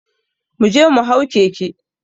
Mu je mu hau keke